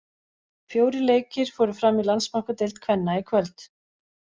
Fjórir leikir fóru fram í Landsbankadeild kvenna í kvöld.